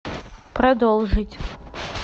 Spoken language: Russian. продолжить